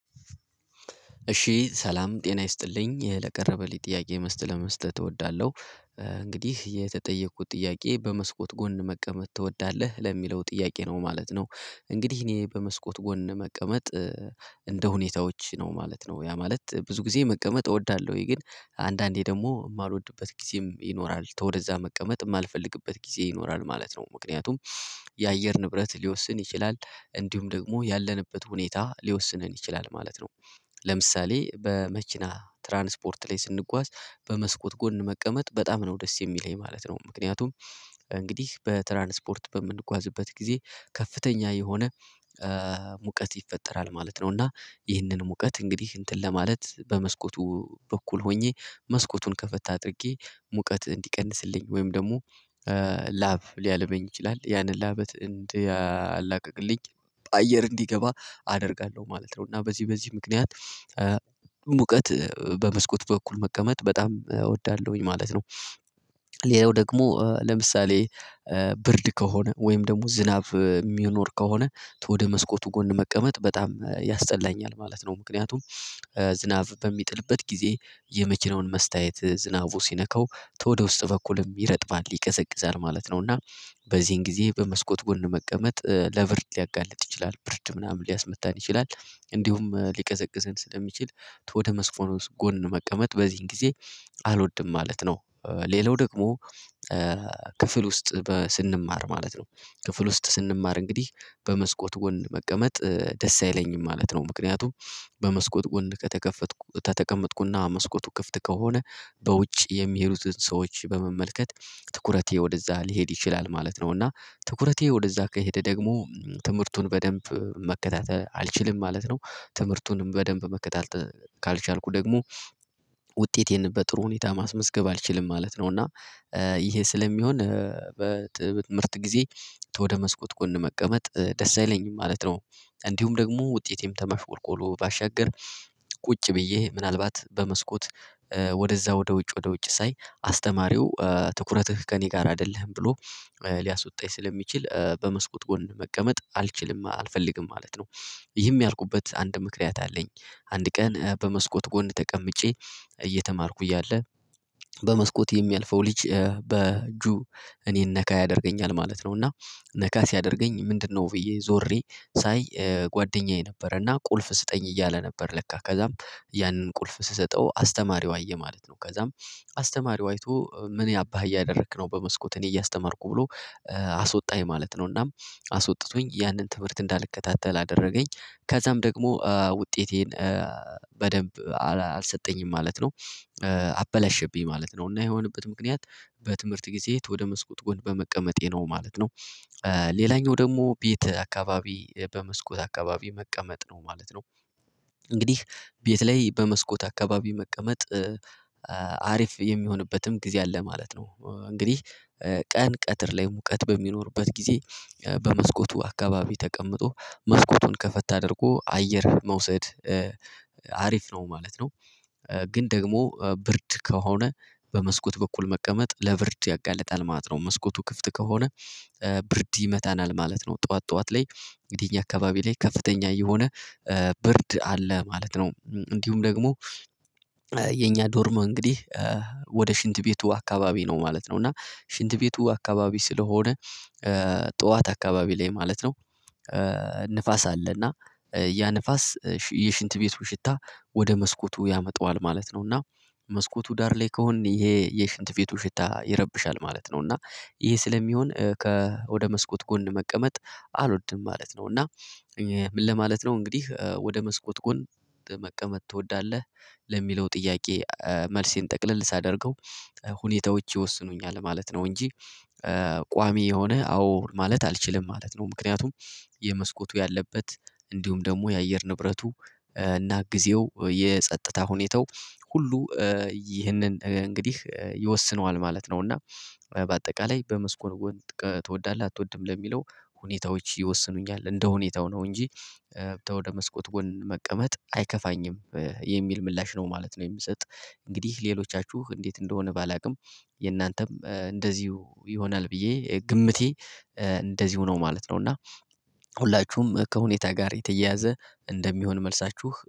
እሺ ሰላም ጤና ይስጥልኝ ለቀረበልኝ ጥያቄ መስት ለመስጠት እወዳለሁ። እንግዲህ የተጠየቅኩት ጥያቄ በመስኮት ጎን መቀመጥ ትወዳለህ ለሚለው ጥያቄ ነው ማለት ነው። እንግዲህ እኔ በመስኮት ጎን መቀመጥ። እንደ ሁኔታዎች ነው ማለት ነው ያ ማለት ብዙ ጊዜ መቀመጥ እወዳለሁኝ ግን። አንዳንዴ ደግሞ የማልወድበት ጊዜም ይኖራል ተወደዛ መቀመጥ የማልፈልግበት ጊዜ ይኖራል ማለት ነው። ምክንያቱም የአየር ንብረት ሊወስን ይችላል እንዲሁም ደግሞ ያለንበት ሁኔታ ሊወስነን ይችላል ማለት ነው። ለምሳሌ በመኪና ትራንስፖርት ላይ ስንጓዝ በመስኮት ጎን መቀመጥ በጣም ነው ደስ የሚለኝ ማለት ነው። ምክንያቱም እንግዲህ በትራንስፖርት በምንጓዝበት ጊዜ ከፍተኛ የሆነ ሙቀት ይፈጠራል ማለት ነው። እና ይህንን ሙቀት እንግዲህ እንትን ለማለት በመስኮቱ በኩል ሆኜ መስኮቱን ከፈት አድርጌ ሙቀት እንዲቀንስልኝ ወይም ደግሞ ላቭ ሊያልበኝ ይችላል ያንን ላበት እንዲያላቅቅልኝ አየር እንዲገባ አደርጋለሁ ማለት ነው። እና በዚህ በዚህ ምክንያት ሙቀት በመስኮት በኩል መቀመጥ በጣም እወዳለሁኝ ማለት ነው። ሌላው ደግሞ ለምሳሌ ብርድ ከሆነ ወይም ደግሞ ዝናብ የሚኖር ከሆነ ወደ መስኮቱ ጎን መቀመጥ በጣም ያስጠላኛል ማለት ነው። ምክንያቱም ዝናብ በሚጥልበት ጊዜ የመኪናውን መስተያየት ዝናቡ ሲነካው ተወደ ውስጥ በኩልም ይረጥባል ይቀዘቅዛል ማለት ነው። እና በዚህን ጊዜ በመስኮት ጎን መቀመጥ ለብርድ ሊያጋልጥ ይችላል ብርድ ምናምን ሊያስመታን ይችላል እንዲሁም ሊቀዘቅዘን ስለሚችል ወደ መስኮኖስ ጎን መቀመጥ በዚህን ጊዜ አልወድም ማለት ነው። ሌላው ደግሞ ክፍል ውስጥ ስንማር ማለት ነው ክፍል ውስጥ ስንማር እንግዲህ በመስኮት ጎን መቀመጥ ደስ አይለኝም ማለት ነው። ምክንያቱም በመስኮት ወንድ ከተከፈትኩ ተተቀመጥኩና መስኮቱ ክፍት ከሆነ በውጭ የሚሄዱትን ሰዎች በመመልከት ትኩረቴ ወደዛ ሊሄድ ይችላል ማለት ነው እና ትኩረቴ ወደዛ ከሄደ ደግሞ ትምህርቱን በደንብ መከታተል አልችልም ማለት ነው። ትምህርቱንም በደንብ መከታተል ካልቻልኩ ደግሞ ውጤቴን በጥሩ ሁኔታ ማስመዝገብ አልችልም ማለት ነው። እና ይሄ ስለሚሆን በጥብት ምርት ጊዜ ወደ መስኮት ጎን መቀመጥ ደስ አይለኝም ማለት ነው። እንዲሁም ደግሞ ውጤቴም ተመፍቆርቆሮ ባሻገር ቁጭ ብዬ ምናልባት በመስኮት ወደዛ ወደ ውጭ ወደ ውጭ ሳይ አስተማሪው ትኩረትህ ከእኔ ጋር አይደለህም ብሎ ሊያስወጣኝ ስለሚችል በመስኮት ጎን መቀመጥ አልችልም አልፈልግም ማለት ነው። ይህም ያልኩበት አንድ ምክንያት አለኝ አንድ ቀን በመስኮት ጎን ተቀምጬ እየተማርኩኝ እያለ በመስኮት የሚያልፈው ልጅ በጁ እኔን ነካ ያደርገኛል ማለት ነው። እና ነካ ሲያደርገኝ ምንድነው ብዬ ዞሬ ሳይ ጓደኛዬ ነበረና ቁልፍ ስጠኝ እያለ ነበር ለካ ከዛም ያንን ቁልፍ ስሰጠው አስተማሪው አየ ማለት ነው። ከዛም አስተማሪው አይቶ ምን ያባህ እያደረክ ነው? በመስኮት እኔ እያስተማርኩ ብሎ አስወጣኝ ማለት ነው። እናም አስወጥቶኝ ያንን ትምህርት እንዳልከታተል አደረገኝ ከዛም ደግሞ ውጤቴን በደንብ አልሰጠኝም ማለት ነው። አበላሸብኝ ማለት ነው እና የሆነበት ምክንያት በትምህርት ጊዜ ወደ መስኮት ጎን በመቀመጤ ነው ማለት ነው። ሌላኛው ደግሞ ቤት አካባቢ በመስኮት አካባቢ መቀመጥ ነው ማለት ነው። እንግዲህ ቤት ላይ በመስኮት አካባቢ መቀመጥ አሪፍ የሚሆንበትም ጊዜ አለ ማለት ነው። እንግዲህ ቀን ቀትር ላይ ሙቀት በሚኖርበት ጊዜ በመስኮቱ አካባቢ ተቀምጦ መስኮቱን ከፈት አድርጎ አየር መውሰድ አሪፍ ነው ማለት ነው። ግን ደግሞ ብርድ ከሆነ በመስኮት በኩል መቀመጥ ለብርድ ያጋልጣል ማለት ነው መስኮቱ ክፍት ከሆነ ብርድ ይመታናል ማለት ነው። ጠዋት ጠዋት ላይ እንግዲህ እኛ አካባቢ ላይ ከፍተኛ የሆነ ብርድ አለ ማለት ነው። እንዲሁም ደግሞ የኛ ዶርም እንግዲህ ወደ ሽንት ቤቱ አካባቢ ነው ማለት ነው። እና ሽንት ቤቱ አካባቢ ስለሆነ ጠዋት አካባቢ ላይ ማለት ነው ንፋስ አለና ያ ንፋስ የሽንት ቤቱ ሽታ ወደ መስኮቱ ያመጣዋል ማለት ነው። እና መስኮቱ ዳር ላይ ከሆንን ይሄ የሽንት ቤቱ ሽታ ይረብሻል ማለት ነው። እና ይሄ ስለሚሆን ከ ወደ መስኮት ጎን መቀመጥ አልወድም ማለት ነው። እና ምን ለማለት ነው እንግዲህ ወደ መስኮት ጎን መቀመጥ ትወዳለህ? ለሚለው ጥያቄ መልሴን ጠቅልል ሳደርገው ሁኔታዎች ይወስኑኛል ማለት ነው። እንጂ ቋሚ የሆነ አዎ ማለት አልችልም ማለት ነው። ምክንያቱም የመስኮቱ ያለበት እንዲሁም ደግሞ የአየር ንብረቱ እና ጊዜው የጸጥታ ሁኔታው ሁሉ ይህንን እንግዲህ ይወስነዋል ማለት ነው። እና በአጠቃላይ በመስኮት ጎን ትወዳለህ አትወድም ለሚለው ሁኔታዎች ይወስኑኛል እንደ ሁኔታው ነው እንጂ ተወደ መስኮት ጎን መቀመጥ አይከፋኝም የሚል ምላሽ ነው ማለት ነው። የምሰጥ እንግዲህ ሌሎቻችሁ እንዴት እንደሆነ ባላውቅም የእናንተም እንደዚሁ ይሆናል ብዬ ግምቴ እንደዚሁ ነው ማለት ነው። እና ሁላችሁም ከሁኔታ ጋር የተያያዘ እንደሚሆን መልሳችሁ